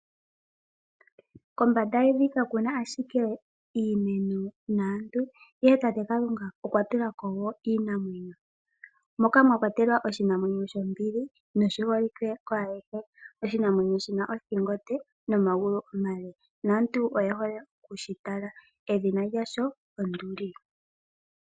Kombanda yevi kakuna ashike iimeno naantu, ihe tate Kalunga okwa tulako woo iinamwenyo, moka mwakwatelwa oshinamwenyo shombili noshiholike kwaayehe. Oshinamwenyo shina othingo onde nomagulu omale, naantu oye hole okushi tala, edhina lyasho onduli.